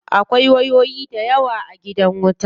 Akwai wayoyi dayawa a gidan wuta.